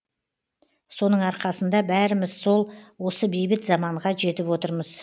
соның арқасында бәріміз сол осы бейбіт заманға жетіп отырмыз